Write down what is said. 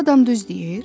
Bu adam düz deyir?